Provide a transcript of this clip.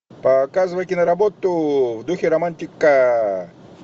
показывай киноработу в духе романтика